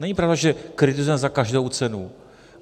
Není pravda, že kritizujeme za každou cenu.